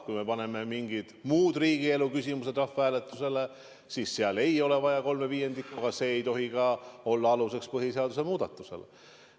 Kui me paneme mingid muud riigielu küsimused rahvahääletusele, siis ei ole vaja kolme viiendiku toetust, aga see ei tohi ka olla aluseks põhiseaduse muutmisele.